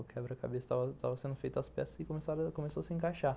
O quebra-cabeça, estava, estava sendo feitos as peças e começaram, começou a se encaixar.